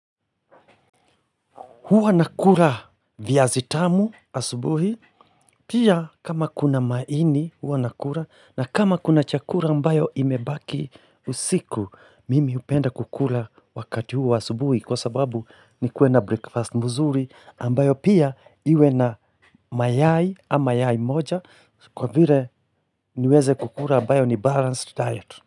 Huwa nakura viazitamu asubuhi pia kama kuna maini huwa nakura na kama kuna chakura ambayo imebaki usiku mimi hupenda kukura wakati huwa asubuhi kwa sababu ni kuwe na breakfast muzuri ambayo pia iwe na mayai ama mayai moja kwa vire niweze kukura ambayo ni balanced diet.